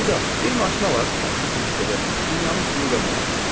Əmican, bir maşın alaq, taksi kimi işlədək, dünyanın pulunu qazanarıq.